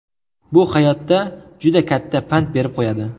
Bu hayotda juda katta pand berib qo‘yadi.